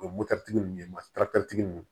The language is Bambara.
O ye mototigi ninnu ye ma ninnu